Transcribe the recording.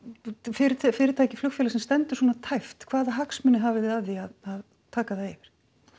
fyrirtæki fyrirtæki flugfélag sem stendur svona tæpt hvaða hagsmuni hafið þið af því að taka það yfir